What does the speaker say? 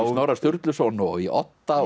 Snorra Sturluson og í Odda